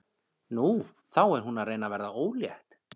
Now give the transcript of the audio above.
Nú, þá er hún að reyna að verða ólétt.